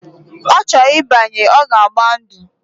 Ocho ibanye, oga agba ndu.